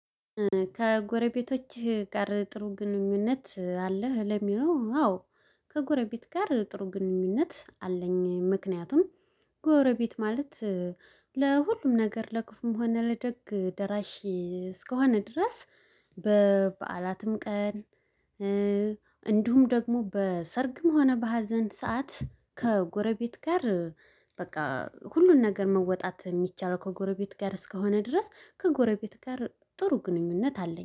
ከጎረቤቶችህ ጋር ጥሩ ግንኙነት አለህ? ለሚለው አዎ ከጎረቤት ጋር ጥሩ ግንኙነት አለኝ። ምክንያቱም ጎረቤት ማለት ለሁሉም ነገር ለክፋም ሆነ ለደግ ደራሽ እስከሆነ ድረስ። በበዓላትም ቀን ደግሞ በሰርግም ሆነ በሀዘን ሰዓት ከጎረቤት ጋር በቃ ሁሉን ነገር መወጣት የሚቻል። ከጎረቤት ጋር እስከሆነ ድረስ ከጎረቤት ጋር ጥሩ ግንኙነት አለኝ